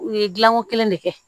U ye dilanko kelen de kɛ